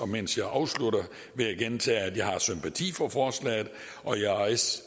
mens jeg afslutter vil jeg gentage at jeg har sympati for forslaget og